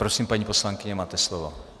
Prosím, paní poslankyně, máte slovo.